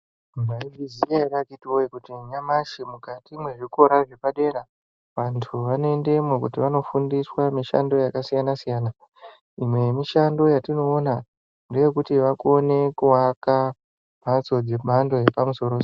Maizviziva ere akiti woye kuti nyamashi mukati muzvikora zvepadera vantu vanoendemo kuti vanofundiswa mishando yakasiyana siyana .Imwe yemishando yatinoona ngeyekuti vakone kuaka mbatso dzemhando yepamusoro soro.